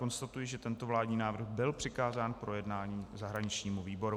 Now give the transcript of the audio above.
Konstatuji, že tento vládní návrh byl přikázán k projednání zahraničnímu výboru.